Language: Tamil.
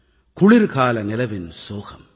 குளிர்கால நிலவின் சோகம்